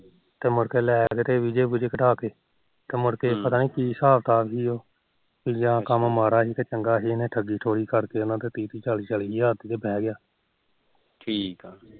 ਤੇ ਮੁੜ ਕੇ ਲੈ ਵੀਜੇ ਵੁਜੇ ਕਟਾਤੇ ਤੇ ਮੁੜਕੇ ਪਤਾ ਨੀ ਕੀ ਹਿਸਾਬ ਤਿਕਾਬ ਸੀ ਉਹ ਜਾ ਕੰਮ ਮਾੜਾ ਸੀ ਜਾ ਚੰਗਾ ਸੀ ਇਹਨੇ ਉਹਨਾ ਤੋ ਤੀਹ ਤੀਹ ਚਾਲੀ ਚਾਲੀ ਹਜਾਰ ਰੁਪੀਆ ਫੜ ਕੇ ਤੇ ਉਹ ਬਹਿ ਗਿਆ ਠੀਕ